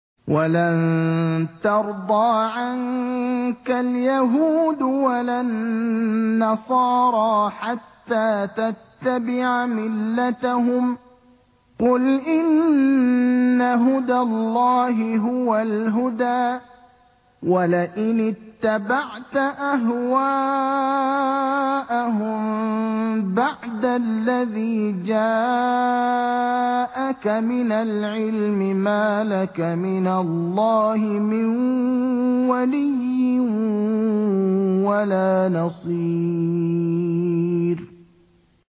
وَلَن تَرْضَىٰ عَنكَ الْيَهُودُ وَلَا النَّصَارَىٰ حَتَّىٰ تَتَّبِعَ مِلَّتَهُمْ ۗ قُلْ إِنَّ هُدَى اللَّهِ هُوَ الْهُدَىٰ ۗ وَلَئِنِ اتَّبَعْتَ أَهْوَاءَهُم بَعْدَ الَّذِي جَاءَكَ مِنَ الْعِلْمِ ۙ مَا لَكَ مِنَ اللَّهِ مِن وَلِيٍّ وَلَا نَصِيرٍ